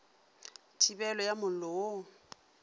thibelo ya mollo wo o